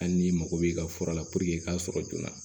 Hali n'i mago b'i ka fura la i k'a sɔrɔ joona